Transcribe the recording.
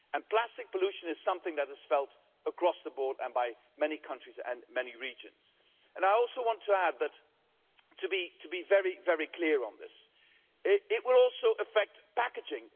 Plastic pollution is something that is felt across the board and by many countries and many regions. I also want to add that to be very, very clear on this it will also affect packaging.